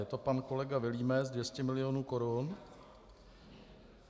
Je to pan kolega Vilímec, 200 milionů korun.